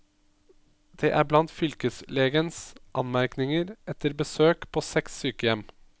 Det er blant fylkeslegens anmerkninger etter besøk på seks sykehjem.